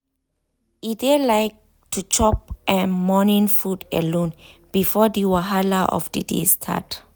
e dey like to chop em morning food alone before the wahala of the day start.